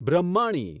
Brahmani